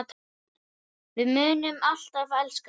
Við munum alltaf elska þig.